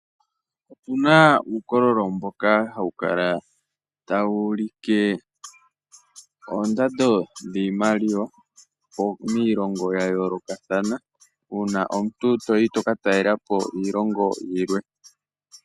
Opuna uukololo mboka hawu kala tawu ulike oondando dhiimaliwa miilongo ya yoolokathana uuna omuntu toyi to ka talelapo iilongo yilwe.